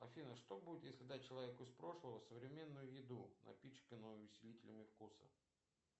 афина что будет если дать человеку из прошлого современную еду напичканную усилителями вкуса